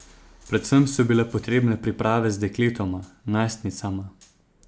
Predvsem so bile potrebne priprave z dekletoma, najstnicama.